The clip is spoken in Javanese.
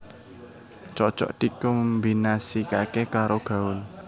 Cocok dikombinasikaké karo gaun